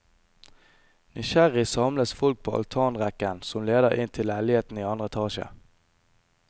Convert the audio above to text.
Nysgjerrig samles folk på altanrekken som leder inn til leilighetene i andre etasje.